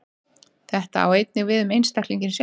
Þetta á einnig við um einstaklinginn sjálfan.